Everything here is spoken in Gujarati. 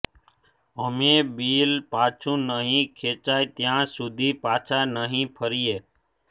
અમે બીલ પાછુ નહી ખેંચાય ત્યાં સુધી પાછા નહિ ફરીએ